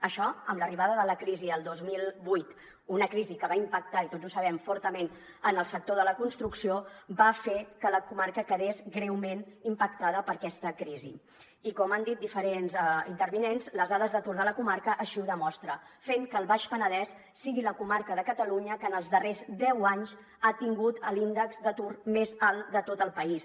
això amb l’arribada de la crisi el dos mil vuit una crisi que va impactar i tots ho sabem fortament en el sector de la construcció va fer que la comarca quedés greument impactada per aquesta crisi i com han dit diferents intervinents les dades d’atur de la comarca així ho demostren i va fer que el baix penedès sigui la comarca de catalunya que en els darrers deu anys ha tingut l’índex d’atur més alt de tot el país